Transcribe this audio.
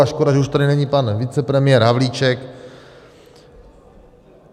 A škoda, že už tady není pan vicepremiér Havlíček.